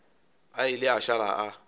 a ile a šala a